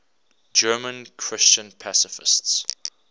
german christian pacifists